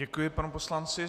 Děkuji panu poslanci.